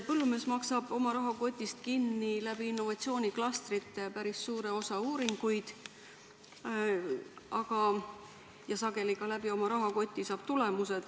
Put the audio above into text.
Põllumees maksab oma rahakotist innovatsiooniklastrite kaudu päris suure osa uuringuid kinni ja sageli saab ta tulemused ka oma rahakoti toel.